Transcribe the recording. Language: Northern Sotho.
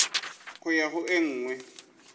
go ya go e nngwe